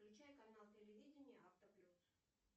включай канал телевидения автоплюс